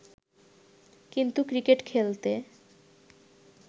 কিন্তু ক্রিকেট খেলতে